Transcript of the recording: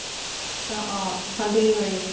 অ অ ভন্তি কি কৰি আছে